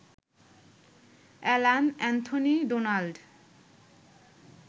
Alan Anthony Donald